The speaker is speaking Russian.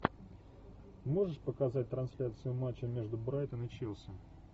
можешь показать трансляцию матча между брайтон и челси